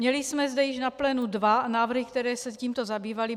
Měli jsme zde již na plénu dva návrhy, které se tímto zabývaly.